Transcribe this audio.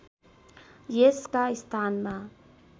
यसका स्थानमा